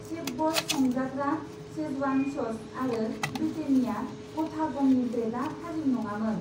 शेफब'स संजाग्रा Schezwan sauce आरो Britannia गथा गमनि ब्रेदआ थाजिम नङामोन।